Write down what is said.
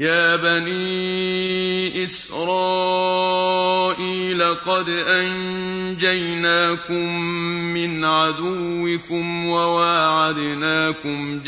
يَا بَنِي إِسْرَائِيلَ قَدْ أَنجَيْنَاكُم مِّنْ عَدُوِّكُمْ وَوَاعَدْنَاكُمْ